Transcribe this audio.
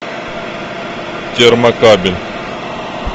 термокабель